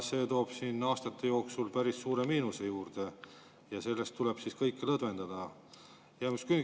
See toob siin aastate jooksul päris suure miinuse juurde ja selle tõttu tuleb kõike lõdvendada.